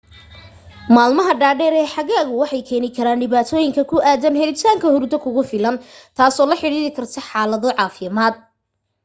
maalmaha dhaadheer ee xagaagu waxay keeni karaan dhibaatooyin ku aadan helitaanka hurdo kugu filan tasoo la xidhiiidhi karta xaalado caafimaad